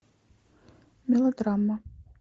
мелодрама